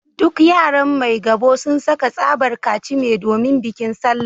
Duk yaran Maigabo sun saka tsabar kachime domin bikin Sallah